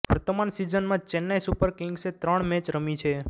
વર્તમાન સિઝનમાં ચેન્નાઈ સુપર કિગ્સે ત્રણ મેચ રમી છે